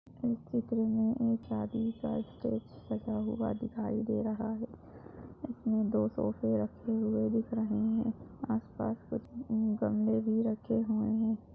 इस चित्र मे एक शादी का स्टेज सजा हुआ दिखाई दे रहा है। इसमे दो सोफे रखे हुए दिख रहे हैं । आसपास कुछ गमले भी रखे हुए हैं।